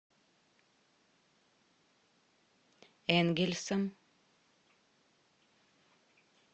энгельсом